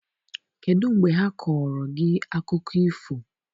Kedụ mgbe ha kọọrọ gị akụkọ ifo?